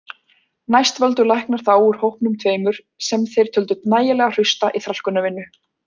Næst völdu læknar þá úr hópunum tveimur sem þeir töldu nægilega hrausta í þrælkunarvinnu.